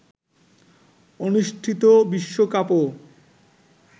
অনুষ্ঠিত বিশ্বকাপও